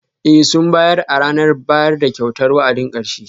Ee, sun bayar a ranar bayar da kyautar wa'adin karshe?